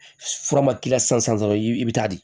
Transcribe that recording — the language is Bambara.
Fura ma k'i la sisan dɔrɔn i bɛ taa di